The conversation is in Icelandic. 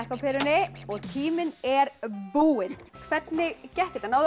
á perunni og tíminn er búinn hvernig gekk þetta náðuð